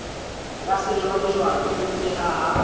ya sejwalejwale e nkehang ha